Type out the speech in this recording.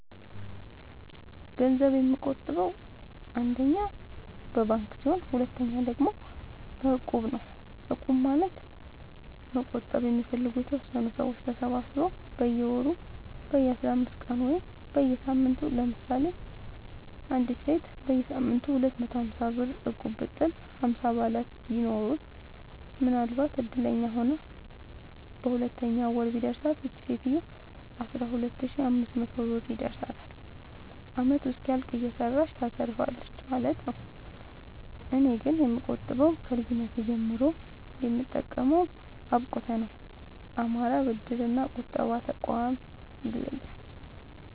ገንዘብ የምቆ ጥበው አንደኛ በባንክ ሲሆን ሁለተኛ ደግሞ በእቁብ ነው እቁብ ማለት መቁጠብ የሚፈልጉ የተወሰኑ ሰዎች ተሰባስበው በየወሩ በየአስራአምስት ቀኑ ወይም በየሳምንቱ ለምሳሌ አንዲት ሴት በየሳምንቱ ሁለት መቶ ሀምሳብር እቁብጥል ሀምሳ አባላት ቢኖሩት ምናልባትም እድለኛ ሆና በሁለተኛው ወር ቢደርሳት ይቺ ሴት አስራሁለት ሺ አምስት መቶ ብር ይደርሳታል አመቱ እስኪያልቅ እየሰራች ታተርፋለች ማለት ነው። እኔ ግን የምቆጥበው ከልጅነቴ ጀምሮ የምጠቀመው አብቁተ ነው። አማራ ብድር እና ቁጠባ ጠቋም ይለያል።